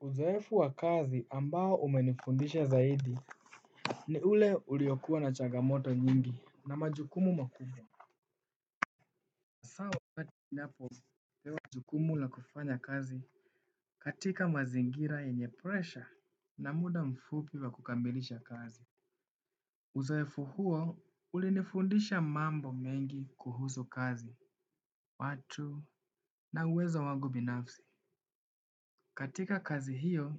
Uzoefu wa kazi ambao umenifundisha zaidi ni ule uliyokuwa na changamoto nyingi na majukumu makubwa hasaa wakati ninapopewa jukumu la kufanya kazi katika mazingira yenye presha na mida mfupi wa kukamilisha kazi uzoefu huo ulinifundisha mambo mengi kuhusu kazi, watu na uwezo wangu binafsi katika kazi hiyo,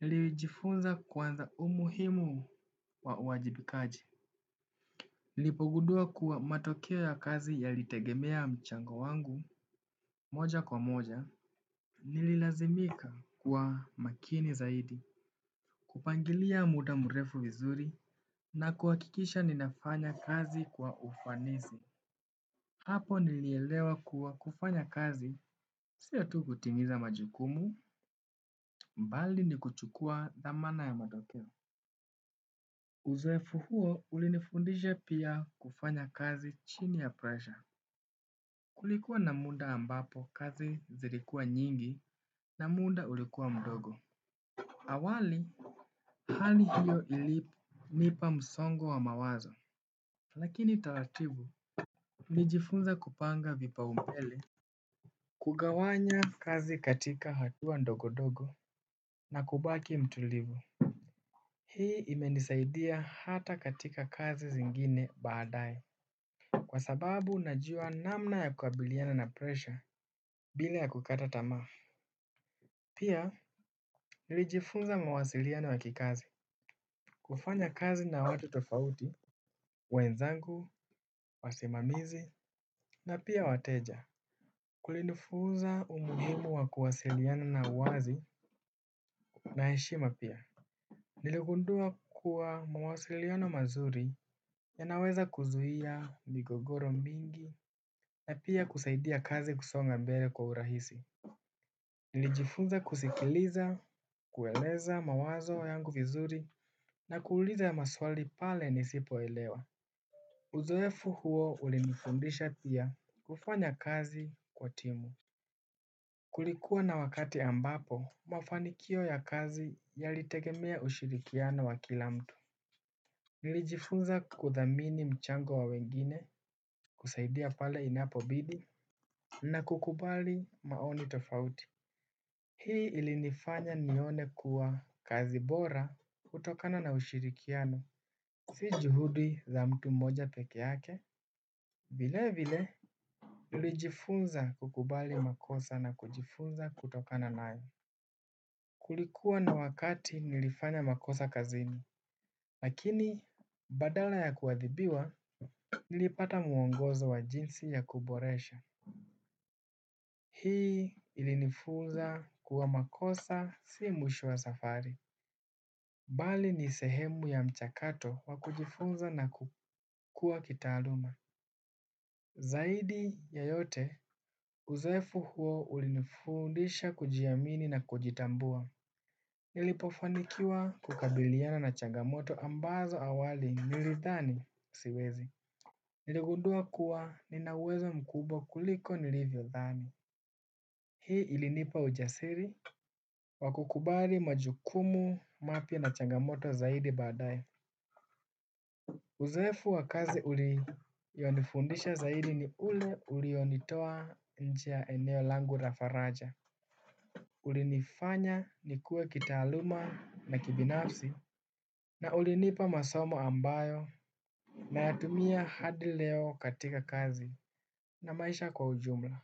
nilijifunza kwanza umuhimu wa uwajibikaji. Nilipogundua kuwa matokeo ya kazi yalitegemea mchango wangu moja kwa moja. Nililazimika kuwa makini zaidi. Kupangilia muda mrefu vizuri na kuhakikisha ninafanya kazi kwa ufanisi. Hapo nilielewa kuwa kufanya kazi. Sio tu kutimiza majukumu, bali ni kuchukua thamana ya matokeo. Uzoefu huo ulinifundishe pia kufanya kazi chini ya presha kulikuwa na muda ambapo kazi zilikuwa nyingi na muda ulikuwa mdogo. Awali hali hiyo ilinipa msongo wa mawazo lakini taratibu nilijifunza kupanga vipaumbele kugawanya kazi katika hatua ndogo ndogo na kubaki mtulivu hii imenisaidia hata katika kazi zingine baadae kwa sababu najua namna ya kukabiliana na presha bila ya kukata tamaa pia nilijifunza mawasiliano ya kikazi kufanya kazi na watu tofauti, wenzangu, wasimamizi, na pia wateja kulinifunza umuhimu wa kuwasiliana na uwazi na heshima pia. Niligundua kuwa mawasiliano mazuri yanaweza kuzuia migogoro mingi na pia kusaidia kazi kusonga mbele kwa urahisi. Nilijifunza kusikiliza kueleza mawazo yangu vizuri na kuuliza haya maswali pale nisipoelewa uzoefu huo ulinifundisha pia kufanya kazi kwa timu kulikuwa na wakati ambapo mafanikio ya kazi yalitegemea ushirikiano wa kila mtu. Nilijifunza kuthamini mchango wa wengine kusaidia pale inapobidi na kukubali maoni tofauti hii ilinifanya nione kuwa kazi bora hutokana na ushirikiano si juhudi za mtu mmoja peke yake vile vile nilijifunza kukubali makosa na kujifunza kutokana nayo kulikuwa na wakati nilifanya makosa kazini lakini badala ya kuadhibiwa nilipata muongozo wa jinsi ya kuboresha. Hii ilinifunza kuwa makosa si mwisho wa safari. Bali ni sehemu ya mchakato wa kujifunza na kukua kitaaluma. Zaidi ya yote uzoefu huo ulinifundisha kujiamini na kujitambua. Nilipofanikiwa kukabiliana na changamoto ambazo awali nilidhani siwezi. Niligundua kuwa nina uwezo mkubwa kuliko nilivyodhani hii ilinipa ujasiri wa kukubali majukumu mapya na changamoto zaidi baadae uzoefu wa kazi ulionifundisha zaidi ni ule ulionitoa nje ya eneo langu la faraja ulinifanya nikue kitaaluma na kibinafsi na ulinipa masomo ambayo nayatumia hadi leo katika kazi na maisha kwa ujumla.